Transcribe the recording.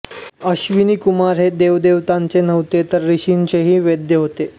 अश्विनीकुमार हे देवदेवतांचे नव्हेत तर ऋषींचेही वैद्य होते